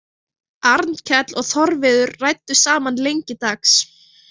Arnkell og Þorviður ræddu saman lengi dags.